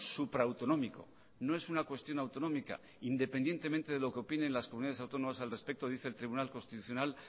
supra autonómico no es una cuestión autonómica independientemente de lo que opinen las comunidades autónomas al respecto dice el tribunal constitucional